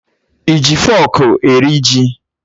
I ji fọọkụ eri ji?